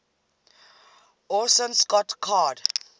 orson scott card